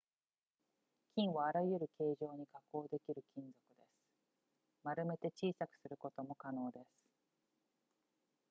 金はあらゆる形状に加工できる金属です丸めて小さくすることも可能です